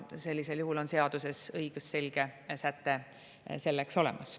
Sellisel juhul on seaduses õigusselge säte selleks olemas.